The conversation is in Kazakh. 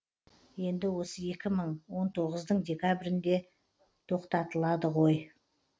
енді осы екі мың он тоғыздың декабрінде тоқтатылады ғой